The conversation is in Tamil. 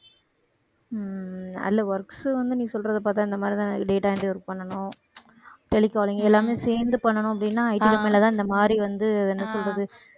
உம் அதுல works வந்து நீ சொல்றதை பார்த்தா இந்த மாதிரிதான் data entry பண்ணணும் tele calling எல்லாமே சேர்ந்து பண்ணணும் அப்படின்னா IT company லதான் இந்த மாதிரி வந்து என்ன சொல்றது